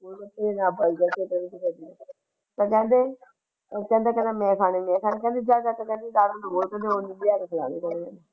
ਉਹ ਕਹਿੰਦੇ ਪਹਿਲੇ ਮੈਂ ਖਾਣਾ ਪਹਿਲੇ ਮੈਂ ਖਾਣਾ ਜਾ ਜਾ ਕੇ ਜ਼ਿਆਦਾ ਨਾ ਬੋਲ ਉਹ ਵੀ ਨਾਲ ਬੈਠੇ ਸੀ।